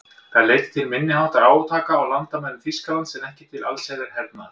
Það leiddi til minniháttar átaka á landamærum Þýskalands en ekki til allsherjar hernaðar.